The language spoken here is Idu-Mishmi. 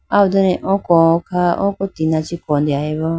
aw done oko kha oko tina chee kodeyibo.